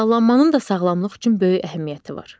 Qidalanmanın da sağlamlıq üçün böyük əhəmiyyəti var.